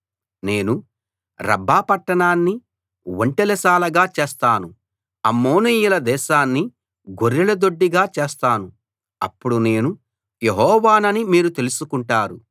నేను రబ్బా పట్టణాన్ని ఒంటెల శాలగా చేస్తాను అమ్మోనీయుల దేశాన్ని గొర్రెల దొడ్డిగా చేస్తాను అప్పుడు నేను యెహోవానని మీరు తెలుసుకుంటారు